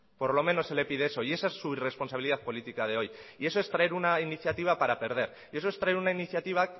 por lo menos se le pide eso y esa es su irresponsabilidad política de hoy y eso es traer una iniciativa para perder y eso es traer una iniciativa